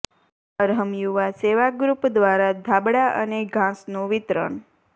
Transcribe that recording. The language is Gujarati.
અર્હમ યુવા સેવા ગ્રુપ દ્વારા ધાબળા અને ઘાસનું વિતરણ